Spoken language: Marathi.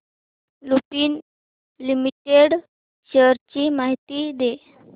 लुपिन लिमिटेड शेअर्स ची माहिती दे